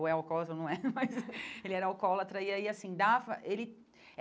Ou é alcoólatra ou não é, mas ele era alcoólatra e aí assim dava ele.